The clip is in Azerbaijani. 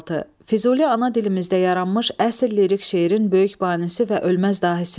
Füzuli ana dilimizdə yaranmış əsl lirik şeirin böyük banisi və ölməz dahisidir.